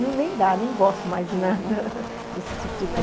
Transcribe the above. Nem dá, nem gosto mais de nada desse tipo de coisa.